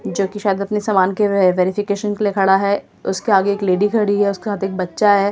जो कि शायद अपने सामान के वेरिफिकेशन के लिए खड़ा है उसके आगे एक लेडी खड़ी है उसके साथ एक बच्चा है ।